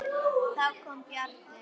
Þá kom Bjarni.